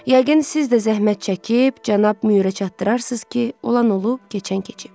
Yəqin siz də zəhmət çəkib cənab Mürə çatdırarsınız ki, olan olub, keçən keçib.